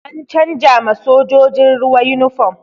An canza ma sojojin ruwa yunifom